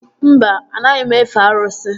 Mba, anaghị m efe arụsị